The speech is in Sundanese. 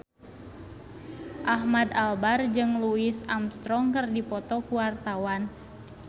Ahmad Albar jeung Louis Armstrong keur dipoto ku wartawan